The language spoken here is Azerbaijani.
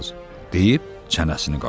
deyib çənəsini qaşıdı.